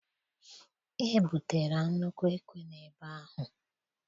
Ebutere nnukwu ekwe n'ebe ahụ.